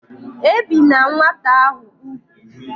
Ebina nwata ahu ugwu!